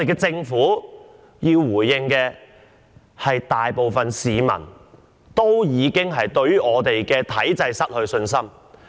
政府要應對的是大部分市民已對香港體制失去信心一事。